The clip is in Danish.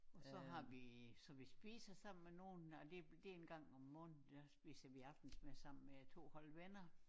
Og så har vi så vi spiser sammen med nogen og det er en gang om måneden der spiser vi aftensmad sammen med 2 hold venner